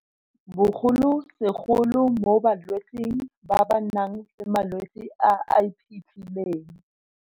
Bogolosegolo mo balwetseng ba ba nang le malwetse a a iphitlhileng.